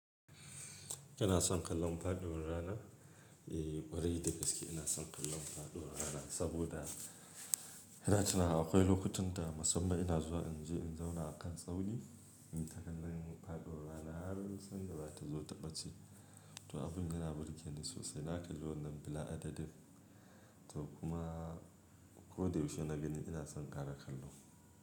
Ina son kallon faduwar rana, eh ƙwarai da gaske ina son kallon faɗuwar rana saboda ina tinawa akwai lokutan da musamman ina zuwa in je in zauna a kan tsauni, innyi ya kallon faɗuwar rana har sanda zata zo ta ɓace. To abin da na burge ni sosai na kalli wannan bila adadin to kuma ko da yaushe na gani ina son ƙara kallo.